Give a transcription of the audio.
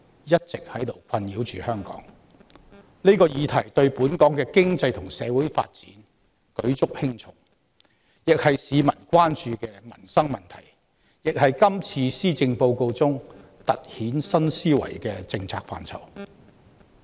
這個問題一直困擾着香港，對本港經濟及社會發展舉足輕重，既是市民關注的民生問題，亦是今次施政報告中突顯政府新思維的政策範疇。